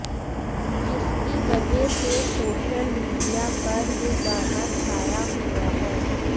जिसकी वजह से सोशल मीडिया पर ये गाना छााया हुआ है